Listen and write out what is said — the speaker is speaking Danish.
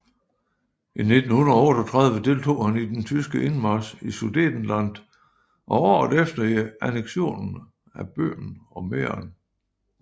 I 1938 deltog han i den tyske indmarch i Sudetenland og året efter i anneksionen af Böhmen og Mähren